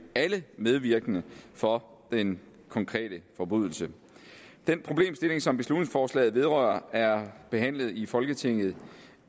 alle medvirkende for den konkrete forbrydelse den problemstilling som beslutningsforslaget vedrører er behandlet i folketinget